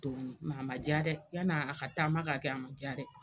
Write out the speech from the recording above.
Tuguni a ma ja dɛ yan'a a ka taama ka kɛ a ma ja dɛ.